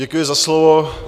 Děkuji za slovo.